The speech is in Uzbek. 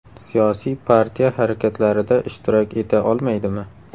Siyosiy partiya harakatlarida ishtirok eta olmaydimi?